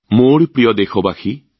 মোৰ প্ৰিয় দেশবাসী